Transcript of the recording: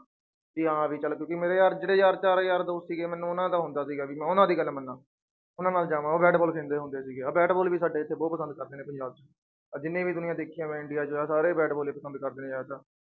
ਵੀ ਹਾਂਂ ਵੀ ਚੱਲ ਕਿਉਂਕਿ ਮੇਰੇ ਯਾਰ ਜਿਹੜੇ ਯਾਰ ਚਾਰ ਯਾਰ ਦੋਸਤ ਸੀਗੇ ਮੈਨੂੰ ਉਹਨਾਂ ਦਾ ਹੁੰਦਾ ਸੀਗਾ ਵੀ ਮੈਂ ਉਹਨਾਂ ਦੀ ਗੱਲ ਮੰਨਾ, ਉਹਨਾਂ ਨਾਲ ਜਾਵਾਂ ਉਹ ਬੈਟਬਾਲ ਖੇਡਦੇ ਹੁੰਦੇ ਸੀ ਆਹ ਬੈਟਬਾਲ ਵੀ ਸਾਡੇ ਇੱਥੇ ਬਹੁਤ ਪਸੰਦ ਕਰਦੇ ਨੇ ਪੰਜਾਬ 'ਚ, ਆਹ ਜਿੰਨੀ ਵੀ ਦੁਨੀਆਂ ਦੇਖੀ ਹੈ ਮੈਂ ਇੰਡੀਆ 'ਚ ਸਾਰੇ ਬੈਟਬਾਲ ਹੀ ਪਸੰਦ ਕਰਦੇ ਜ਼ਿਆਦਾ ਤਾਂ।